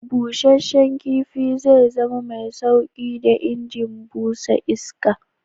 Bushen kifi zai zama mai sauƙi da injin busa iska.